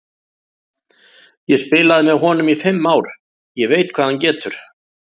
Ég spilaði með honum í fimm ár, ég veit hvað hann getur.